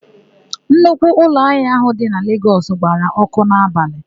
Nnukwu ụlọahịa áhụ̀ dị na Legọs gbara ọ́kụ́ n'abalị.